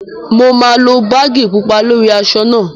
Mo máa lo báàgì pupa lórí aṣọ náà